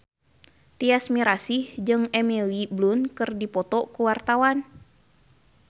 Tyas Mirasih jeung Emily Blunt keur dipoto ku wartawan